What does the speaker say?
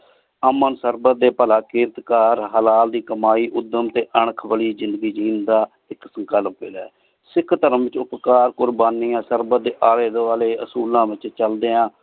ਅਮਨ ਸਰ੍ਬੰਦ ਡੀ ਭਲਾ ਕਰਤ ਹਲਾਲ ਦੀ ਕਮਾਈ ਉਦਮ ਟੀ ਅਣਖ ਵਾਲੀ ਜ਼ਿੰਦਗੀ ਜੀਨ ਦਾ ਇਕ ਤਰੀਕਾ ਲਾਭ੍ਯਾ ਹੈ ਸਿਖ ਧਰਮ ਕ਼ੁਰ੍ਬਾਨਿਯਾਂ ਸਰ੍ਬੰਦ ਡੀ ਆਲੀ ਦ੍ਵਾਲ੍ਯ ਅਸੂਲਾਂ ਵਿਚ ਚਲ੍ਦ੍ਯਾ